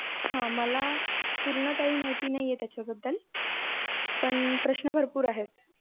हा मला, पूर्ण काही माहिती नाही आहे त्याच्या बदल पण प्रश्न भरपूर आहे.